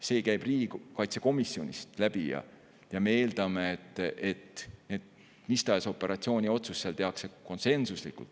See käib riigikaitsekomisjonist läbi ja me eeldame, et mis tahes operatsiooniotsus tehakse seal konsensuslikult.